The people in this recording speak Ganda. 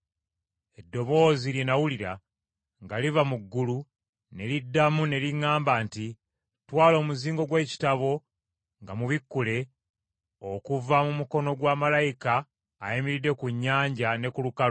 Eddoboozi lye nnawulira nga liva mu ggulu, ne liddamu ne liŋŋamba nti, “Twala omuzingo gw’ekitabo nga mubikkule okuva mu mukono gwa malayika ayimiridde ku nnyanja ne ku lukalu.”